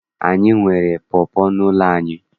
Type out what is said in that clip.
Anyị nwere pọpọ n'ụlọ anyị.